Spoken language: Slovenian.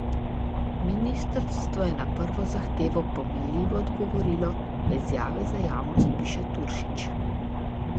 Ministrstvo je na prvo zahtevo pomenljivo odgovorilo, v izjavi za javnost piše Turšič.